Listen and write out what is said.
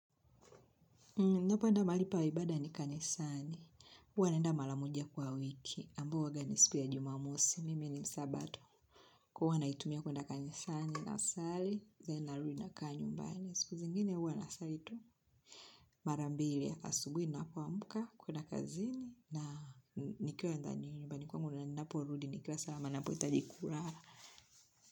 Ninapoenda mahali pa ibada ni kanisani, huwa naenda mala moja kwa wiki, ambao huaga ni siku ya jumamosi, mimi ni msabato, huwa naitumia kuenda kanisani, nasali, then narudi nakaa nyumbani, siku zingine huwa na sali tu, mara mbiri asubuhi ninapomuka kuenda kazini, na nikiwa ndani nyumbani kwangu, na ninaporudi nikiwa sawa, na ninapo hitaji kurara.